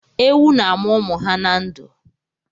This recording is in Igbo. Ewu na-amụ ụmụ ha na ndụ.